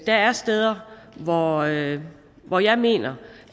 der er steder hvor jeg hvor jeg mener